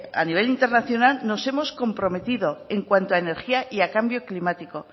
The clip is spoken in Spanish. a nivel internacional nos hemos comprometido en cuanto a energía y a cambio climático